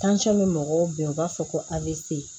bɛ mɔgɔw bɛn u b'a fɔ ko avc